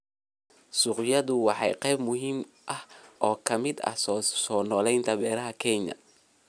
Suuqyadu waa qayb muhiim ah oo ka mid ah soo noolaynta beeraha Kenya.